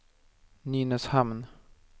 Nynäshamn